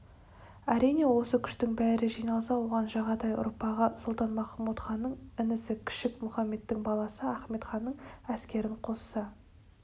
әрине осы күштің бәрі жиналса оған жағатай ұрпағы сұлтан-махмұд ханның інісі кішік мұхамедтің баласы ахмет ханның әскерін қосса